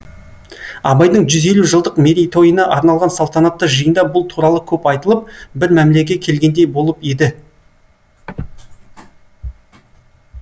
абайдың жүз елу жылдық мерейтойына арналған салтанатты жиында бұл туралы көп айтылып бір мәмлеге келгендей болып еді